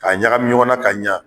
K'a ɲagami ɲɔgɔn na ka ɲa.